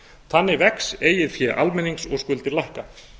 þannig vex eigið fé almennings og skuldir lækka